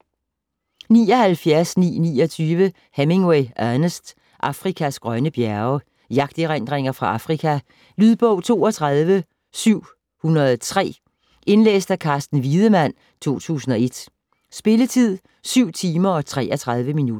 79.929 Hemingway, Ernest: Afrikas grønne bjerge Jagterindringer fra Afrika. Lydbog 32703 Indlæst af Carsten Wiedemann, 2001. Spilletid: 7 timer, 33 minutter.